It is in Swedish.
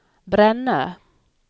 Brännö